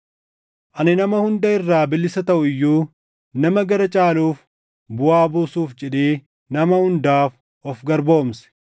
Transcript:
Ani nama hunda irraa bilisa taʼu iyyuu nama gara caaluuf buʼaa buusuuf jedhee nama hundaaf of garboomse.